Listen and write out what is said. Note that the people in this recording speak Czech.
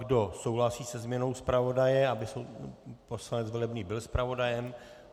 Kdo souhlasí se změnou zpravodaje, aby poslanec Velebný byl zpravodajem?